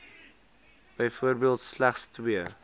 byvoorbeeld slegs twee